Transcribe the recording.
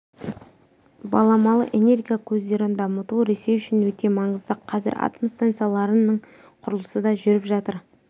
баламалы энергия көздерін дамыту ресей үшін өте маңызды қазір атом станцияларының құрылысы да жүріп жатыр